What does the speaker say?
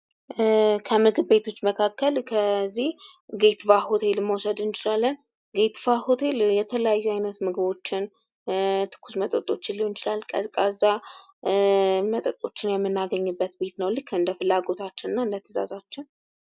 ከምግብ ቤቶች መካከል እዚህ ጌትባህ ሆቴልን መውሰድ እንችላለን ። ጌትባህ ሆቴል የተለያዩ አይነት ምግቦችን ፣ ትኩስ መጠጦችን ሊሆን ይችላል ቀዝቃዛ መጠጦችን የምናገኝበት ቤት ነው ። ልክ እንደ ፍላጎታችን እና እንደ ትእዛዛችን